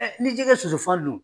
Ɛ ni jɛgɛ ye sosofan dun.